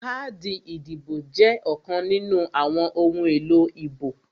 Káàdì ìdìbò jẹ́ ọ̀kan nínú àwọn ohun èlò ìbò